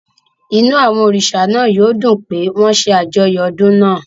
Inú àwọn òrìṣà náà yóò dùn pé wọ́n ń ṣe àjọyọ̀ odun náà.